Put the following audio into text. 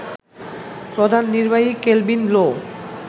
প্রধান নির্বাহী কেলভিন লো